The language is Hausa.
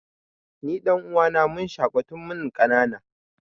Ni da ɗan'uwana mun shaƙu tun mun ƙanana.